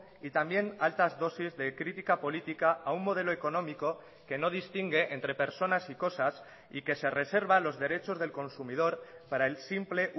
y también altas dosis de crítica política a un modelo económico que no distingue entre personas y cosas y que se reserva los derechos del consumidor para el simple